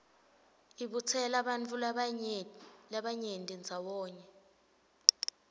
ibutsela bantfu labanyenti ndzawonye